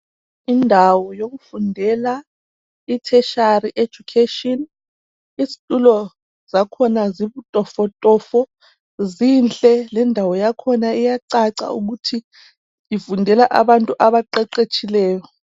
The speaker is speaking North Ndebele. Indawo yokufundela I tertiary education izitulo zakhona zibutofotofo, zinhle lendawo yakhona iyacaca ukuthi ifundela abantu abaqeqetshileyo.